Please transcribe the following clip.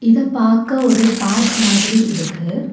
இத பாக்க ஒரு பார்க் மாதிரி இருக்கு.